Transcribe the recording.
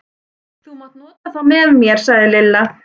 Þú mátt nota þá með mér sagði Lilla.